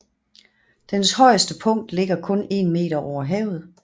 Dens højeste punkt ligger kun 1 meter over havet